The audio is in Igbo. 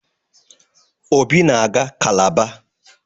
Obi na-aga kalabar.